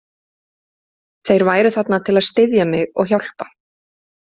Þeir væru þarna til að styðja mig og hjálpa.